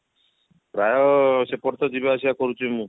ପ୍ରାୟ ସେପଟେ ତ ଯିବା ଆସିବା କରୁଛି ମୁଁ